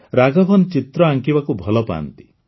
ରାଘବନ୍ ଚିତ୍ର ଆଙ୍କିବାକୁ ଭଲ ପାଆନ୍ତି